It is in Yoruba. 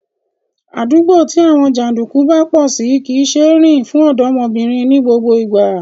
Àdúgbò tí àwọn jàndùkú bá pọ̀ sí kò ṣeé rìn fún ọ̀dọ́mọbìnrin ní gbogbo ìgbà